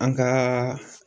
An ka.